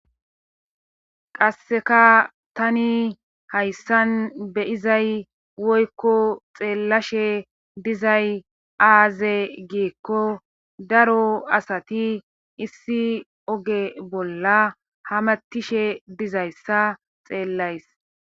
qasseka tani hayssan be'izay woykko xeellashe dizay aaze giiko daro asati issi oge bolla ha matishe dizayssa xeellays